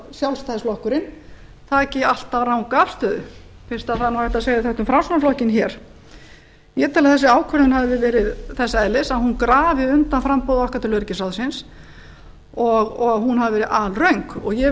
sjálfstæðisflokkurinn taki alltaf ranga afstöðu fyrst hægt er að segja þetta um framsóknarflokkinn hér ég tel að þessi ákvörðun hafi verið þess eðlis að hún grafi undan framboði okkar til öryggisráðsins og hún hafi verið alröng og ég vil